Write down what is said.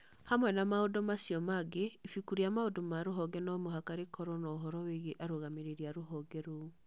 Hamwe na maũndũ macio mangĩ, ibuku rĩa maũndũ ma rũhonge no mũhaka rĩkorũo na ũhoro wĩgiĩ arũgamĩrĩri a rũhonge rũu.